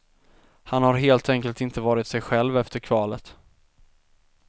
Han har helt enkelt inte varit sig själv efter kvalet.